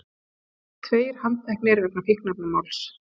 Tveir handteknir vegna fíkniefnamáls